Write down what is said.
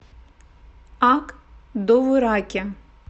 ак довураке